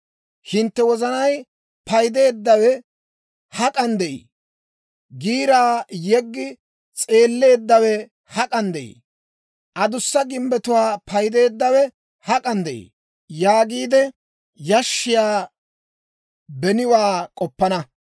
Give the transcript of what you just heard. Hintte wozanay, «paydeeddawe hak'an de'ii? Giiraa yiggi s'eelleeddawe hak'an de'ii? Adussa gimbbetuwaa paydeeddawe hak'an de'ii?» yaagiide yashshiyaa beniwaa k'oppana.